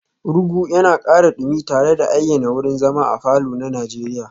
Rugu yana ƙara dumi tare da ayyana wurin zama a falor na Najeriya